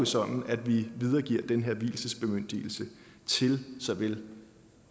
sådan at vi videregiver den her vielsesbemyndigelse til såvel